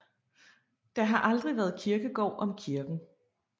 Der har aldrig været kirkegård om kirken